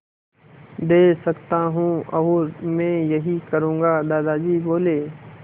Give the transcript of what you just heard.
दे सकता हूँ और मैं यही करूँगा दादाजी बोले